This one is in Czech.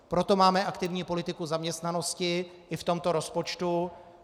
Proto máme aktivní politiku zaměstnanosti i v tomto rozpočtu.